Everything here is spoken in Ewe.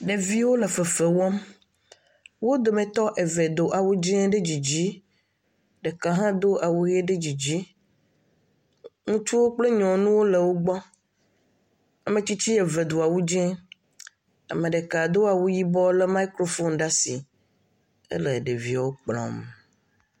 Ɖeviwo le fefe wɔm, wo dometɔ eve do awu dzɛ̃ ɖe dzidzi, ɖeka hã do awu ʋe ɖe dzidzi, ŋutsuwo kple nyɔnuwo le wo gbɔ ametsitsi eve do awu dzɛ̃ ame ɖeka do awu yibɔ lé mikrafon ɖe asi ele ɖeviawo kplɔm.